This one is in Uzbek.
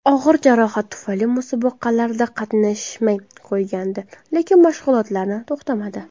Og‘ir jarohat tufayli musobaqalarda qatnashmay qo‘ygandi, lekin mashg‘ulotlarni to‘xtatmadi.